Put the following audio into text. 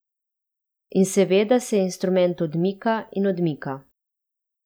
In seveda se instrument odmika in odmika.